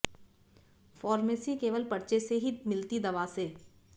pharmacy केवल पर्चे से ही मिलती दवा से